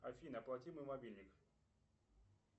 афина оплати мой мобильник